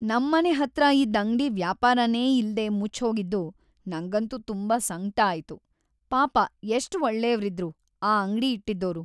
ನಮ್‌ ಮನೆ ಹತ್ರ ಇದ್ದ್‌ ಅಂಗ್ಡಿ ವ್ಯಾಪಾರನೇ ಇಲ್ದೇ ಮುಚ್ಚ್‌ಹೋಗಿದ್ದು ನಂಗಂತೂ ತುಂಬಾ ಸಂಕ್ಟ ಆಯ್ತು.. ಪಾಪ ಎಷ್ಟ್‌ ಒಳ್ಳೇವ್ರಿದ್ರು ಆ ಅಂಗ್ಡಿ ಇಟ್ಟಿದ್ದೋರು.